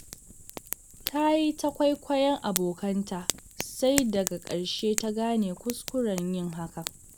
Ta yi ta kwaikwayon abokanta, sai daga ƙarshe ta gane kuskuren yin hakan.